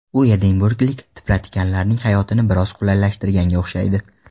U edinburglik tipratikanlarning hayotini biroz qulaylashtirganga o‘xshaydi.